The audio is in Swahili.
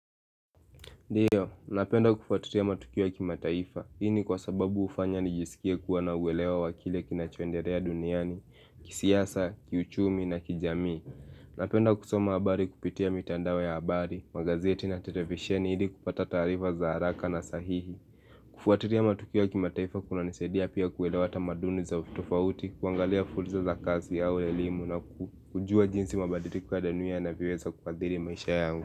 Ndiyo, napenda kufuatilia matukio ya kimataifa, ini kwa sababu hufanya nijisikie kuwa na uwelewa wakile kinachoendelea duniani, kisiasa, kiuchumi na kijami. Napenda kusoma habari kupitia mitandao ya habari, magazeti na televisheni ili kupata tarifa za haraka na sahihi. Kufuatilia matukio ya kimataifa kunanisadia pia kuelewa maduni za ufitofauti, kuangalia fursa za kazi ya uelimu na kujua jinsi mabaliko kwa danuia na viweza kuadhiri maisha yangu.